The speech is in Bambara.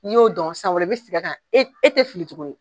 N'i y'o dɔn san wɛrɛ i bɛ segin a ka kan, e tɛ fili tuguni.